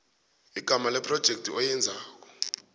igama lephrojekhthi oyenzela